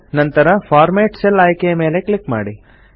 ನಂತರ format cell ಆಯ್ಕೆಯ ಮೇಲೆ ಕ್ಲಿಕ್ ಮಾಡಿ